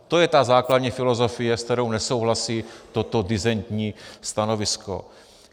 To je ta základní filozofie, se kterou nesouhlasí toto disentní stanovisko.